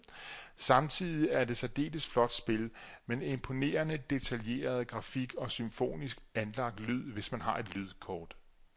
Samtidig er det et særdeles flot spil, men imponerende detaljeret grafik og symfonisk anlagt lyd, hvis man har et lydkort.